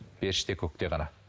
періште көкте ғана